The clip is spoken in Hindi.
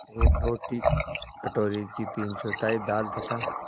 एक रोटी कटोरे की तीनचौथाई दाल तथा